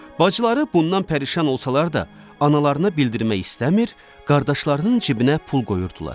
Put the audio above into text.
Bacıları bundan pərişan olsalar da, analarına bildirmək istəmir, qardaşlarının cibinə pul qoyurdular.